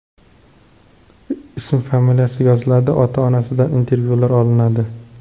Ismi-familiyasi yoziladi, ota-onasidan intervyular olinadi.